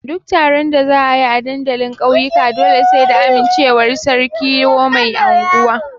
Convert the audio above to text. Duk taron da za a yi a dandalin ƙauyuka dole sai da amincewar sarki ko mai anguwa.